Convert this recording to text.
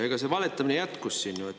Ja see valetamine jätkus siin.